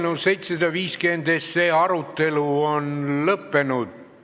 Eelnõu 750 arutelu on lõppenud.